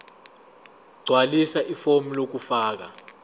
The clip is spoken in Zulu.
gqwalisa ifomu lokufaka